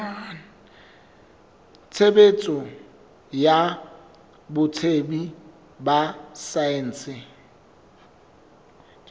tshebetso ya botsebi ba saense